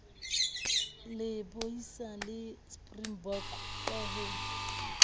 lebohisa di springbok ka ho